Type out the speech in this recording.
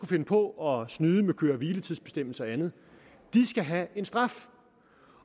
finde på at snyde med køre hvile tids bestemmelser og andet skal have en straf